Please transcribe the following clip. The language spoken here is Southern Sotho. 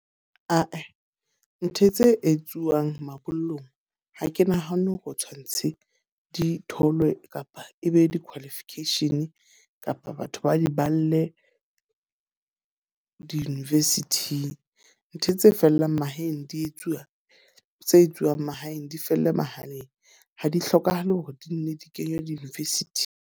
Ae, ntho tse etsuwang mabollong. Ha ke nahane hore o tshwantshe di tholwe kapa e be di-qualification kapa batho ba di balle di-university-ing. Ntho tse fellang mahaeng di etsuwa tse etsuwang mahaeng di felle mohaleng. Ha di hlokahale hore di nne di kenywe di-university.